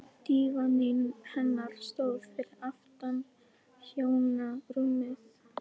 Dívaninn hennar stóð fyrir aftan hjónarúmið.